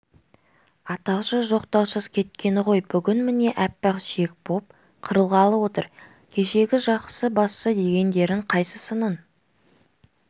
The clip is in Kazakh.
атаусыз жоқтаусыз кеткені ғой бүгін міне аппақ сүйек боп қырылғалы отыр кешегі жақсы басшы дегендерің қайсысының